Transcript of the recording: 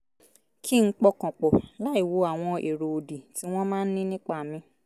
kí n pọkàn pọ̀ láìwo àwọn èrò òdì tí wọ́n máa ń ní nípa mi